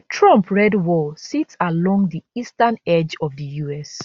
trump red wall sit along di eastern edge of di us